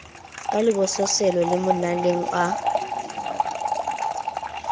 ka lebososelo le monaleo a